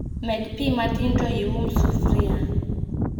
Med pii matin to ium sufria